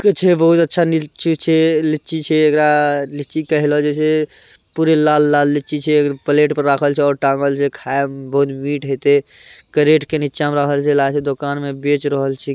के छे बहुत अच्छा लीची छे लीची छे एकरा लीची के हेलो जे छे पूरे लाल-लाल लीची छे एकर प्लेट पे राखल छे और टाँगल छे खाए में बहुत मीठ हेते करेटे के नीचा में रखल छे ला के दुकान में बेच रहल छे।